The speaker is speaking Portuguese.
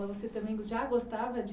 Mas você também já gostava de